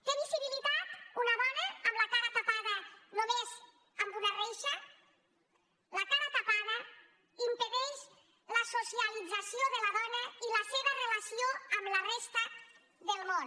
té visibilitat una dona amb la cara tapada només amb una reixa la cara tapada impedeix la socialització de la dona i la seva relació amb la resta del món